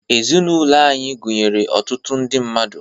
Ezinụlọ anyị gụnyere ọtụtụ ndị mmadụ.